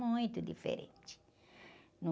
Muito diferente.